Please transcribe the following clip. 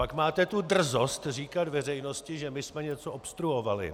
Pak máte tu drzost říkat veřejnosti, že my jsme něco obstruovali.